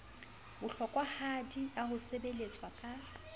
bohlokwahadi ya ho sebeletswa ka